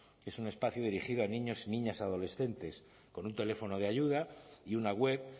que es un espacio dirigido a niños y niñas adolescentes con un teléfono de ayuda y una web